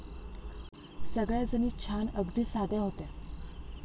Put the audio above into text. सगळ्याजणी छान अगदी साध्या होत्या.